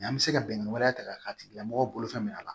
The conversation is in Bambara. an mi se ka bɛnnɛ wɛrɛ ta ka k'a tigila mɔgɔ bolo fɛn min na